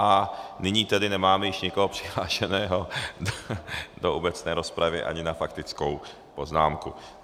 A nyní tedy nemáme již nikoho přihlášeného do obecné rozpravy ani na faktickou poznámku.